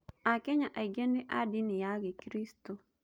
Akenya aingĩ nĩ a ndini ya gĩkristũ.